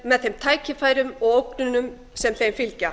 með þeim tækifærum og ógnunum sem þeim fylgja